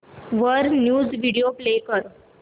वर news video play कर